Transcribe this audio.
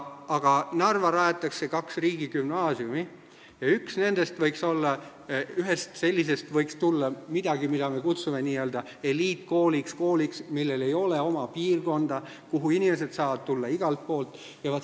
Aga Narva rajatakse kaks riigigümnaasiumi ja ühest sellisest võiks tulla midagi, mida me kutsume n-ö eliitkooliks – kooliks, millel ei ole oma piirkonda ja kuhu inimesed saavad tulla igalt poolt.